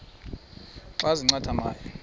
ezintia xa zincathamayo